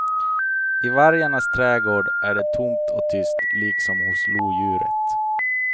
I vargarnas trädgård är det tomt och tyst, liksom hos lodjuret.